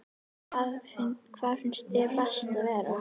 Hvar finnst þér best að vera?